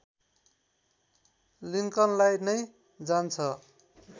लिङ्कनलाई नै जान्छ